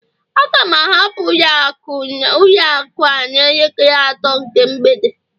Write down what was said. Aga m ahapụ ụlọ akụ a n'elekere atọ nke mgbede